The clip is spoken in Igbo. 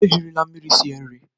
Ejirila mmiri sie nri.